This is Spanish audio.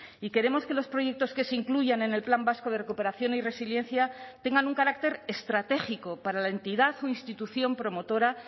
y queremos que los proyectos que se incluyan en el plan vasco de recuperación y resiliencia tengan un carácter estratégico para la entidad o institución promotora